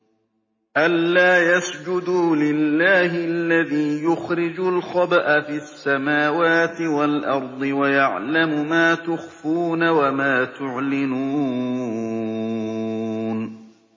أَلَّا يَسْجُدُوا لِلَّهِ الَّذِي يُخْرِجُ الْخَبْءَ فِي السَّمَاوَاتِ وَالْأَرْضِ وَيَعْلَمُ مَا تُخْفُونَ وَمَا تُعْلِنُونَ